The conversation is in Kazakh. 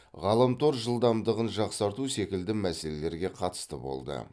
ғаламтор жылдамдығын жақсарту секілді мәселерге қатысты болды